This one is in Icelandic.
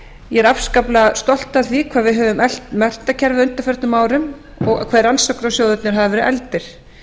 ég er afskaplega stolt af því hvað við höfum eflt menntakerfið á undanförnum árum og hve rannsóknarsjóðirnir hafa verið efldir